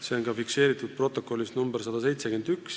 See on ka fikseeritud protokollis nr 171.